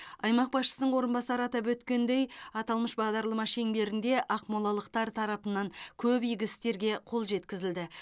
аймақ басшысының орынбасары атап өткендей аталмыш бағдарлама шеңберінде ақмолалықтар тарапынан көп игі істерге қол жеткізілді